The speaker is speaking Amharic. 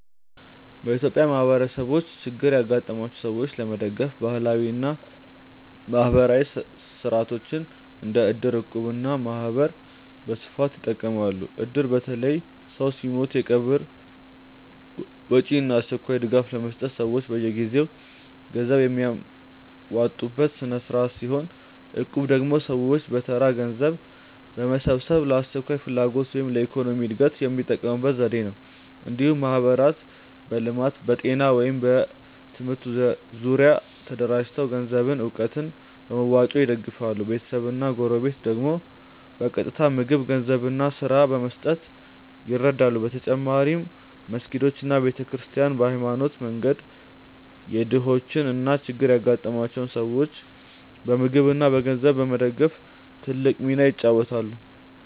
በኢትዮጵያ ማህበረሰቦች ችግር ያጋጠማቸውን ሰዎች ለመደገፍ ባህላዊ እና ማህበራዊ ሥርዓቶች እንደ እድር፣ እቁብ እና ማህበር በስፋት ይጠቀማሉ። እድር በተለይ ሰው ሲሞት የቀብር ወጪ እና አስቸኳይ ድጋፍ ለመስጠት ሰዎች በየጊዜው ገንዘብ የሚያዋጡበት ስርዓት ሲሆን፣ እቁብ ደግሞ ሰዎች በተራ ገንዘብ በመሰብሰብ ለአስቸኳይ ፍላጎት ወይም ለኢኮኖሚ እድገት የሚጠቀሙበት ዘዴ ነው። እንዲሁም ማህበራት በልማት፣ በጤና ወይም በትምህርት ዙሪያ ተደራጅተው ገንዘብና እውቀት በመዋጮ ይደግፋሉ፤ ቤተሰብና ጎረቤት ደግሞ በቀጥታ ምግብ፣ ገንዘብ እና ስራ በመስጠት ይረዱ። በተጨማሪም መስጊዶች እና ቤተ ክርስቲያናት በሃይማኖታዊ መንገድ የድሆችን እና ችግር ያጋጠማቸውን ሰዎች በምግብ እና በገንዘብ በመደገፍ ትልቅ ሚና ይጫወታሉ።